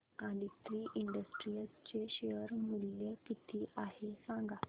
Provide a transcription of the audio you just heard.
Aditri Industries चे share मूल्य किती आहे सांगा